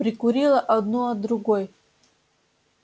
прикурила одну от другой